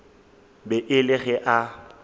be e le ge a